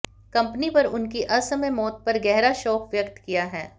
company पर उनकी असमय मौत पर गहरा शोक व्यक्त किया है